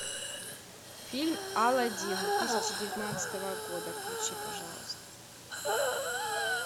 фильм аладдин две тысячи девятнадцатого года включи пожалуйста